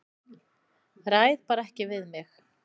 Ræð bara ekki við mig.